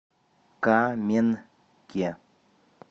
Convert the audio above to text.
каменке